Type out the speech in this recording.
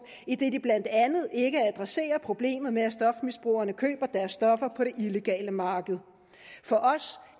idet de blandt andet ikke adresserer problemet med at stofmisbrugerne køber deres stoffer på det illegale marked for os